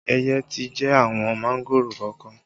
Ẹyẹ ti jẹ àwọn mángòrò kọ̀ọ̀kan